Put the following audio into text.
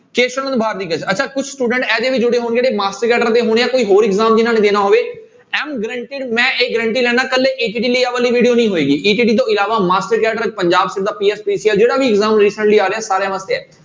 ਕੇਸਵ ਨੰਦ ਭਾਰਤੀਏ ਅੱਛਾ ਕੁਛ student ਇਹੋ ਜਿਹੇ ਵੀ ਜੁੜੇ ਹੋਣ ਜਿਹੜੇ ਮਾਸਟਰ ਕੈਡਰ ਦੇ ਹੋਣੇ ਆਂ ਕੋਈ ਹੋਰ exam ਦੇ ਨਾਲ ਹੋਵੇ am guaranteed ਮੈਂ ਇਹ guarantee ਲੈਨਾ ਇਕੱਲੇ ETT ਲਈ ਆਹ ਵਾਲੀ video ਨਹੀਂ ਹੋਏਗੀ ETT ਤੋਂ ਇਲਾਵਾ ਮਾਸਟਰ ਕੈਡਰ ਪੰਜਾਬ ਜਿਹੜਾ ਵੀ exam ਆ ਰਿਹਾ ਸਾਰਿਆਂ ਵਾਸਤੇ ਹੈ।